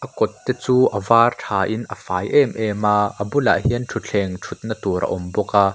kawt te chu a vâr ṭhain a fai êm êm a a bulah hian ṭhuthleng ṭhutna tûr a awm bawk a.